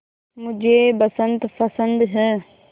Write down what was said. मुझे बसंत पसंद है